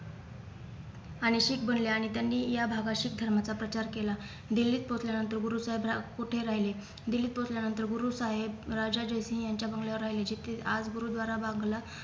आणि शीख भरले आणि त्यांनी या भावा शीख धर्माचा प्रचार केला दिल्लीत पोहोचल्या नंतर गुरु सरदार कोठे राहिले दिल्लीत पोहोचल्या नंतर गुरु साहेब राजा जयसिंग यांच्या बंगल्यावर राहिलेजेथे आज गुरुद्वारा